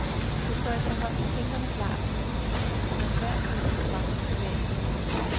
Det står efterhånden tindrende klart, at nogle partier for enhver pris vil fremme privatbilismen.